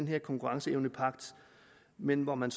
her konkurrenceevnepagt men hvor man